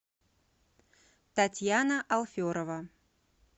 татьяна алферова